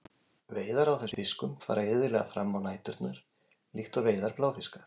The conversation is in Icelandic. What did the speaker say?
Veiðar á þessum fiskum fara iðulega fram á næturnar, líkt og veiðar bláfiska.